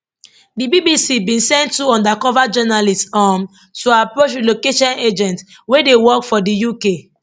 di bbc bin send two undercover journalists um to approach relocation agents wey dey work for di uk